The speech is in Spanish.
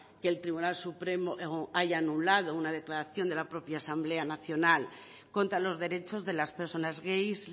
que el tribunal supremo haya anulado una declaración de la propia asamblea nacional contra los derechos de las personas gays